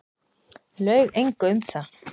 Laug engu um það.